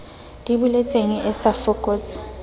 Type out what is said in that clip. di boletseng e sa fokotse